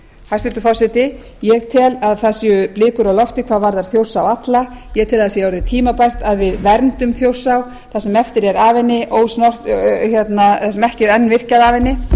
hæstvirtur forseti ég tel að það séu blikur á lofti hvað varðar þjórsá alla ég tel að það sé orðið tímabært að við verndum þjórsá það sem ekki er enn virkjað af henni